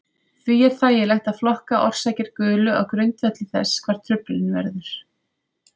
Því er þægilegt að flokka orsakir gulu á grundvelli þess hvar truflunin verður.